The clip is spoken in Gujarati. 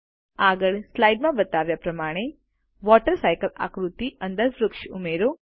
આગળ આ સ્લાઇડ માં બતાવ્યા પ્રમાણે વોટર સાયકલ આકૃતિ અંદર વૃક્ષો ઉમેરો